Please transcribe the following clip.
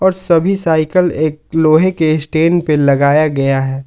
सभी साइकल एक लोहे के स्टैंड पे लगाया गया है।